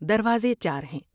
دروازے چار ہیں ۔